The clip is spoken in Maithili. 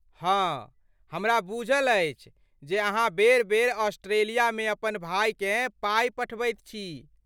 हाँ, हमरा बूझल अछि जे अहाँ बेर बेर ऑस्ट्रेलियामे अपन भायकेँ पाइ पठबैत छी।